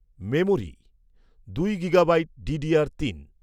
memory, দুই gigabyte DDR তিন